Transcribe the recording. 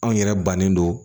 Anw yɛrɛ bannen do